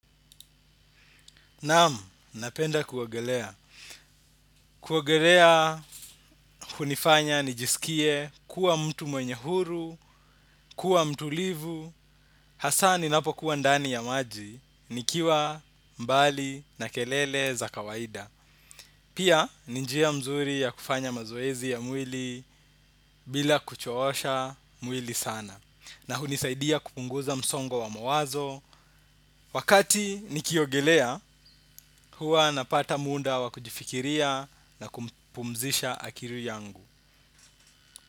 Naam, napenda kuogelea. Kuogelea, hunifanya, nijisikie, kuwa mtu mwenye huru, kuwa mtulivu, hasaa ninapo kuwa ndani ya maji, nikiwa, mbali, na kelele za kawaida. Pia, ni njia mzuri ya kufanya mazoezi ya mwili, bila kuchowosha mwili sana. Na hunisaidia kupunguza msongo wa mawazo. Wakati nikiogelea, huwa napata muda wakujifikiria na kumpumzisha akili yangu.